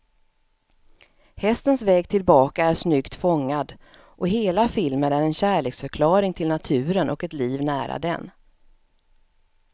Hästens väg tillbaka är snyggt fångad, och hela filmen är en kärleksförklaring till naturen och ett liv nära den.